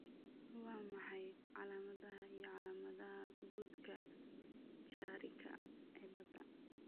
Waa maxay calaamadaha iyo calaamadaha Buddka Chiarika ciladha?